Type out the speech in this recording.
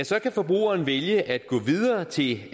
så kan forbrugeren vælge at gå videre til